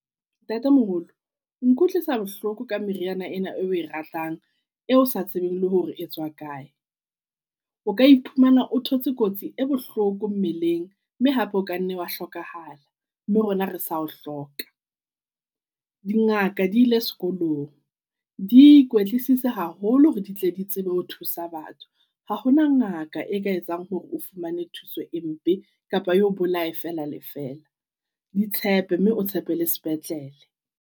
Ntatemoholo o nkutlwisa bohloko ka meriana ena eo ratang, e o sa tsebeng le hore e tswa kae. O ka iphumana o thotse kotsi e bohloko mmeleng mme hape o kanne wa hlokahala mme rona re sa o hloka. Dingaka di ile sekolong di ikwetlisitse haholo hore di tle di tsebe ho thusa batho. Ha hona ngaka e ka etsang hore o fumane thuso e mpe kapa eo bolae fela le fela. Di tshepe mme o tshepe le sepetlele.